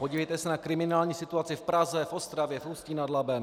Podívejte se na kriminální situaci v Praze, v Ostravě, v Ústí nad Labem.